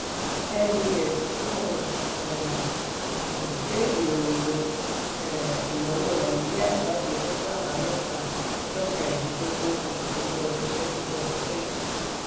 "nbs yóò um gbé ìròyìn um ìnáwó nàìjíríà jáde lọ́jọ́ àbámẹ́ta ọjọ́ kẹrìndínlógún oṣù kíní ọdún twenty twenty three ."